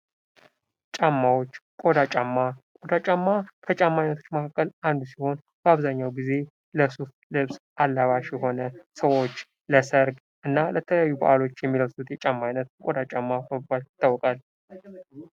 ጫማዎች ቆዳ ጫማ ቆዳ ጫማ ከጫማ አይነቶች መካከል አንዱ ሲሆን በአብዛኛው ጊዜ ለሱፍ ልብስ አላባሽ የሆነ ሰዎች ለሰርግ እና ለተለያዩ በአላት የሚለብሱት ጫማዎች ቆዳ ጫማ በመባል ይታወቃል።